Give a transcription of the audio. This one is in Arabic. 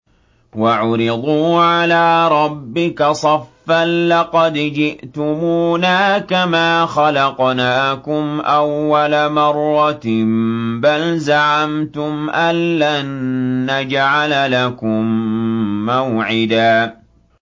وَعُرِضُوا عَلَىٰ رَبِّكَ صَفًّا لَّقَدْ جِئْتُمُونَا كَمَا خَلَقْنَاكُمْ أَوَّلَ مَرَّةٍ ۚ بَلْ زَعَمْتُمْ أَلَّن نَّجْعَلَ لَكُم مَّوْعِدًا